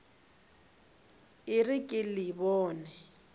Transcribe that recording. e re ke le bone